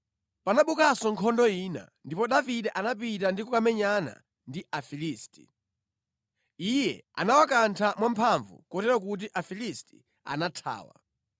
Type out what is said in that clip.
Panabukanso nkhondo ina ndipo Davide anapita ndi kukamenyana ndi Afilisti. Iye anawakantha mwamphamvu kotero kuti Afilisti anathawa.